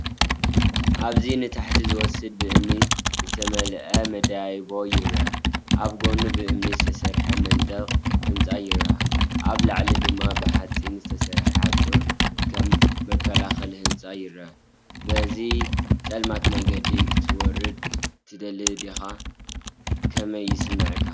ኣብዚንታሕቲ ዝወስድ ብእምኒ ዝተመልአ መደያይቦ ይርአ። ኣብ ጎድኑ ብእምኒ ዝተሰርሐ መንደቕ ህንጻ ይርአ፣ ኣብ ላዕሊ ድማ ብሓጺን ዝተሰርሐ ሓጹር ከም መከላኸሊ ህንጻ ይረአ። በዚ ጸልማት መንገዲ ክትወርድ ትደሊ ዲኻ? ከመይ ይስምዓካ?